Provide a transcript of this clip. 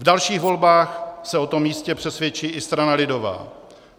V dalších volbách se o tom jistě přesvědčí i strana lidová.